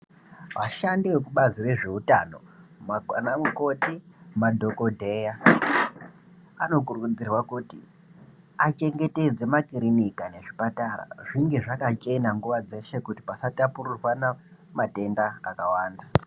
Vashandi vekubazi rezveutano ana mukoti, madhokoteya anokurudzirwa kuti achengetedze makirinika nezvipatara zvinge zvakachena nguwa dzeshe kuti pasatapurirwana matenda akawanda.